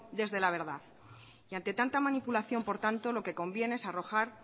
desde la verdad y ante tanta manipulación por tanto lo que conviene es arrojar